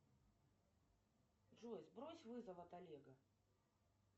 джой сбрось вызов от олега